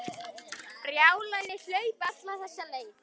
Brjálæði að hlaupa alla þessa leið.